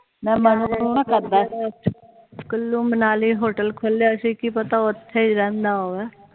Kullu Manali hotel ਖੋਲਿਆ ਸੀ ਕਿ ਪਤਾ ਉਥੇ ਹੀ ਰਹਿੰਦਾ ਹੋਵੇ